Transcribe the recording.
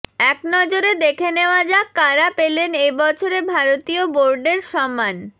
একনজরে দেখে নেওয়া যাক কারা পেলেন এবছরে ভারতীয় বোর্ডের সম্মান